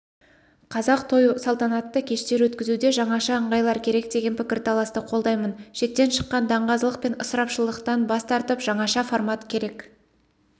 қазақ той салтанатты кештер өткізуде жаңаша ыңғайлар керек деген пікір-таласты қолдаймын шектен шыққан даңғазалық пен ысырапшылдықтан бас тартып жаңаша формат керек